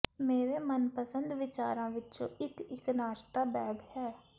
ਮੇਰੇ ਮਨਪਸੰਦ ਵਿਚਾਰਾਂ ਵਿਚੋਂ ਇਕ ਇਕ ਨਾਸ਼ਤਾ ਬੈਗ ਹੈ